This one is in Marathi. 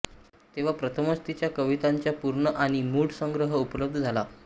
तेव्हा प्रथमच तिच्या कवितांचा पूर्ण आणि मुळ संग्रह उपलब्ध झाला